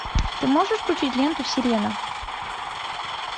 ты можешь включить ленту сирена